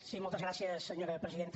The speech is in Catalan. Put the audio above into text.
sí moltes gràcies senyora presidenta